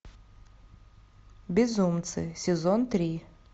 безумцы сезон три